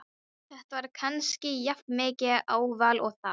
Þetta var kannski jafnmikið áfall og það.